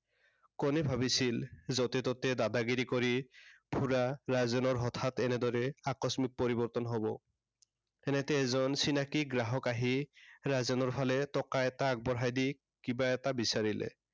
কোনে ভাবিছিল যতে তেত দাদাগিৰি কৰি ফুৰা ৰাজেনৰ হঠাৎ এনেদৰে আকস্মিক পৰিৱৰ্তন হব। তেনেতে এজন চিনাকি গ্ৰাহক আহি ৰাজেনৰ ফালে টকা এটা আগবঢ়াই দি কিবা এটা বিচাৰিলে।